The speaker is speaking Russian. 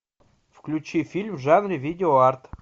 включи фильм в жанре видео арт